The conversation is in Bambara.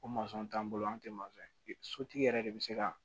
O t'an bolo an tɛ ye sotigi yɛrɛ de bɛ se ka